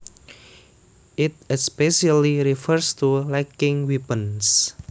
It especially refers to lacking weapons